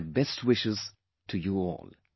My best wishes to you all